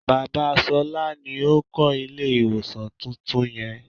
Bàbá ṣolá ni ó kó ilé ìwòsàn tuntun yẹ.